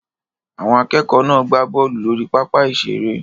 Àwọn akẹ́kọ̀ọ́ náà gbá bọ́ọ̀lù lórí pápá ìṣeré